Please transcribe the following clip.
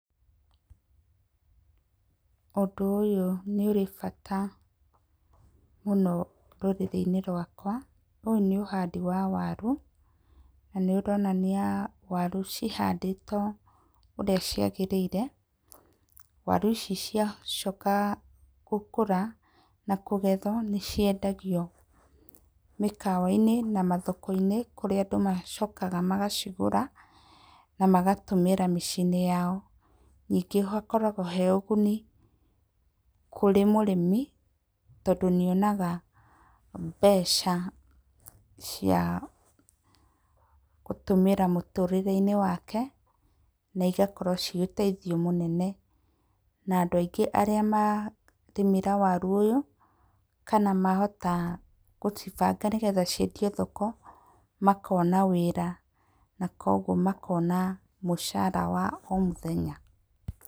Ũndũ ũyũ nĩ ũrĩ bata mũno rũrĩrĩ-inĩ rwakwa. Ũyũ nĩ ũhandi wa waru na nĩũronania waru cihandĩtwo ũrĩa ciagĩrĩire, waru ici ciacoka gũkũra na kũgethwo, nĩciendagio mĩkawa-inĩ na mathoko-inĩ kũrĩa andũ macokaga magacigũra na magatũmĩra miciĩ-inĩ yao. Ningĩ hakoragwo harĩ ũguni kũrĩ mũrĩmi tondũ nĩonaga mbeca ciagũtũmĩra mũtũrĩre-inĩ wake na igakorwo cirĩ ũteithio mũnene. Na andũ aingĩ arĩa marĩmĩra waru ũyũ kana mahota gũcibanga nĩ getha ciendio thoko makona wĩra nakoguo makona mũcara wa o mũthenya.